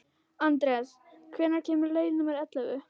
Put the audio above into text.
Anders, hvenær kemur leið númer ellefu?